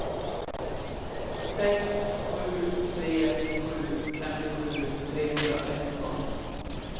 sex sju tre sju femtiosju trehundrasexton